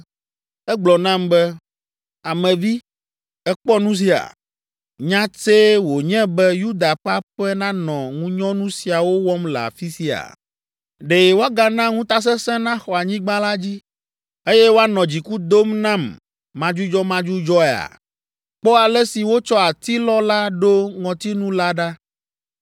Egblɔ nam be, “Ame vi, èkpɔ nu sia? Nya tsɛe wònye be Yuda ƒe aƒe nanɔ ŋunyɔnu siawo wɔm le afi sia? Ɖe woagana ŋutasesẽ naxɔ anyigba la dzi, eye woanɔ dziku dom nam madzudzɔmadzudzɔea? Kpɔ ale si wotsɔ atilɔ la ɖo ŋɔtinu la ɖa!